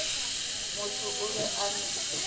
motho o be a no